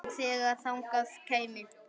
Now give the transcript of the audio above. Og þegar þangað kæmi.